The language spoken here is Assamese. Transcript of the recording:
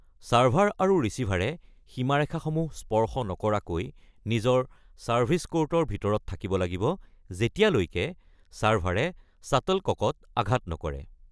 ছাৰ্ভাৰ আৰু ৰিচিভাৰে সীমাৰেখাসমূহ স্পৰ্শ নকৰাকৈ নিজৰ ছাৰ্ভিচ ক'ৰ্টৰ ভিতৰত থাকিব লাগিব যেতিয়ালৈকে ছাৰ্ভাৰে শ্বাট্লককত আঘাত নকৰে।